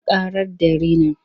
Sun ƙarar da rinin.